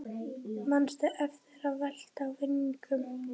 Manstu eftir að velta vöngum?